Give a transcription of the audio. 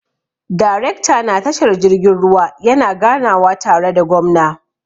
Darekta na tashar jirgin ruwa yana ganawa tare da gwamna.